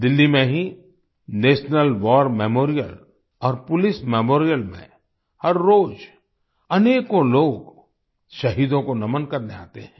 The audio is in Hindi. दिल्ली में ही नेशनल वार मेमोरियल और पोलिस मेमोरियल में हर रोज अनेकों लोग शहीदों को नमन करने आते हैं